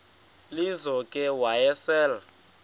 lizo ke wayesel